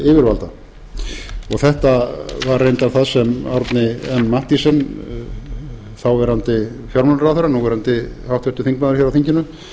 yfirvalda þetta var reyndar það sem árni m mathiesen þáv fjármálaráðherra núv háttvirtur þingmaður hér á þinginu